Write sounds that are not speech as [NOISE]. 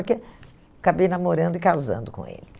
[UNINTELLIGIBLE] Acabei namorando e casando com ele.